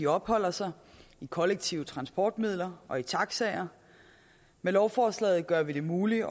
opholder sig i kollektive transportmidler og i taxaer med lovforslaget gør vi det muligt